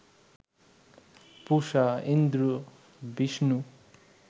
Pusha, Indra, Vishnu